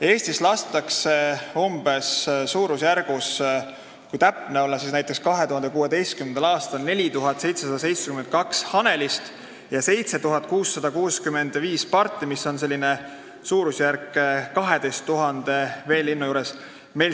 Eestis lasti näiteks 2016. aastal 4772 hanelist ja 7665 parti, suurusjärk on 12 000 veelindu.